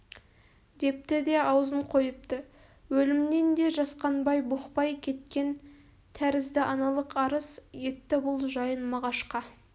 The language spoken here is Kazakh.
депті де аузын қойыпты өлімнен де жасқанбай бұқпай кеткен тәрізді аналық арыз етті бұл жайын мағашқа